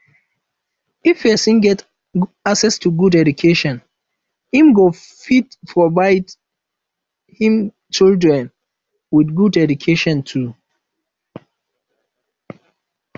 if persin get access to good education im go fit provide im children with good education too